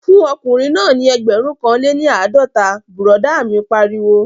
Fún ọkùnrin náà ní ẹgbẹ̀rún kan lé ní àádọ́ta, bùrọ̀dá mi pariwo